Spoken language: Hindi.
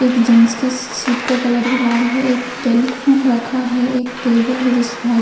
एक जेंट्स की सस सीट का कलर लाल है। एक टेलीफ़ोन रखा हुआ है। एक टेबल है। जिस फा --